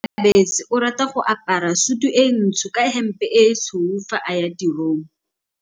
Onkabetse o rata go apara sutu e ntsho ka hempe e tshweu fa a ya tirong.